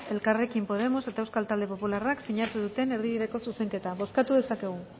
elkarrekin podemos eta euskal talde popularrak sinatu duten erdibideko zuzenketa bozkatu dezakegu